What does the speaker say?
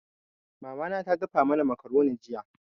Mama na ta dafa mana makaroni jiya.